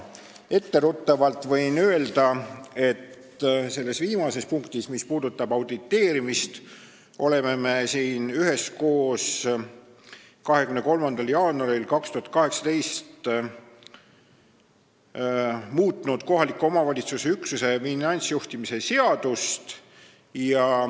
Etteruttavalt võin öelda selle viimase punkti kohta, mis puudutab auditeerimist, et me siin üheskoos 23. jaanuaril 2018 muutsime kohaliku omavalitsuse üksuse finantsjuhtimise seadust.